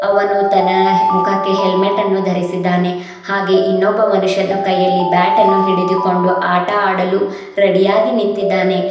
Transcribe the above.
ಅವನು ದನಾ ಮುಖಕ್ಕೆ ಹೆಲ್ಮೆಟ್ ಅನ್ನು ಧರಿಸಿದ್ದಾನೆ ಹಾಗೆ ಇನ್ನೊಬ್ಬ ಮನುಷ್ಯನು ಕೈಯಲ್ಲಿ ಬ್ಯಾಟನ್ನು ಹಿಡಿದು ಕೊಂಡು ಆಟ ಆಡಲು ರೆಡಿಯಾಗಿ ನಿಂತಿದ್ದಾನೆ.